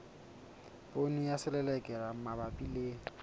poone ya selelekela mabapi le